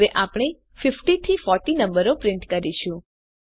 હવે આપણે 50 થી 40 નંબરો પ્રિન્ટ કરીશું